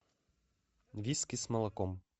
виски с молоком